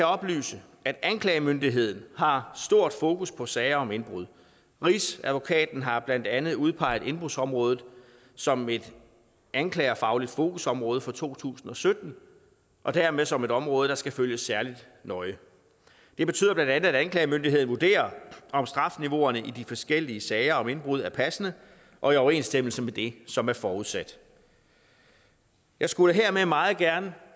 oplyse at anklagemyndigheden har stort fokus på sager om indbrud rigsadvokaten har blandt andet udpeget indbrudsområdet som et anklagerfagligt fokusområde for to tusind og sytten og dermed som et område der skal følges særlig nøje det betyder bla at anklagemyndigheden vurderer om strafniveauerne i de forskellige sager om indbrud er passende og i overensstemmelse med det som er forudsat jeg skulle hermed meget gerne